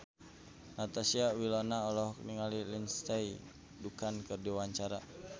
Natasha Wilona olohok ningali Lindsay Ducan keur diwawancara